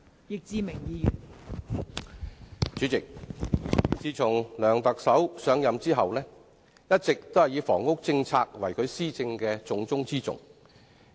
代理主席，梁特首自上任後，一直以房屋政策為其施政的重中之重。